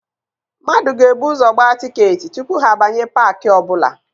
Mmadụ ga-ebu ụzọ gbaa tịketị tupu ha abanye paakị ọbụla.